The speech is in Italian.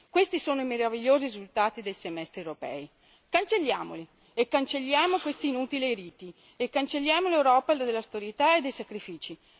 Questi sono i meravigliosi risultati dei semestri europei. Cancelliamoli e cancelliamo questi inutili riti e cancelliamo l'Europa dell'austerità e dei sacrifici.